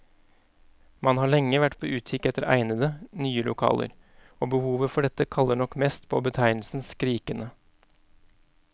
Man har lenge vært på utkikk etter egnede, nye lokaler, og behovet for dette kaller nok mest på betegnelsen skrikende.